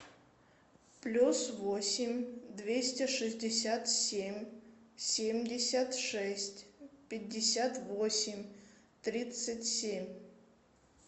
плюс восемь двести шестьдесят семь семьдесят шесть пятьдесят восемь тридцать семь